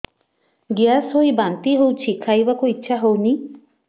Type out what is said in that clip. gas ହୋଇ ବାନ୍ତି ହଉଛି ଖାଇବାକୁ ଇଚ୍ଛା ହଉନି